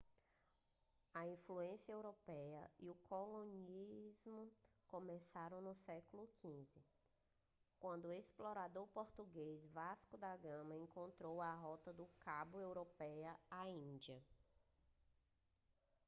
a influência europeia e o colonialismo começaram no século xv quando o explorador português vasco da gama encontrou a rota do cabo da europa à índia